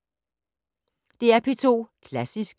DR P2 Klassisk